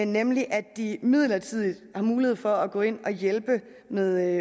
nemlig at de midlertidigt har mulighed for at gå ind og hjælpe med